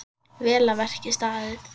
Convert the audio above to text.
Vel að verki staðið.